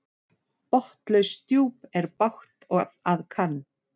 Botnlaust djúp er bágt að kann.